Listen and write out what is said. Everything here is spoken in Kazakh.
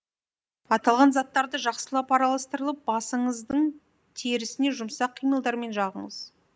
аталған заттарды жақсылып араластырып басыңыздың терісіне жұмсақ қимылдармен жағыңыз